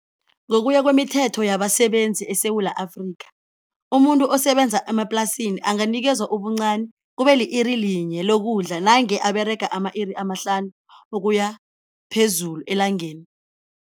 Ngokuya kwemithetho yabasebenzi eSewula Afrika, umuntu osebenza emaplasini anganikezwa ubuncani kube li-iri linye lokudla nange aberega ama-iri amahlanu ukuya phezulu elangeni.